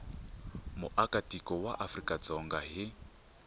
muakatiko wa afrika dzonga hi